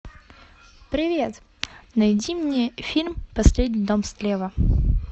привет найди мне фильм последний дом слева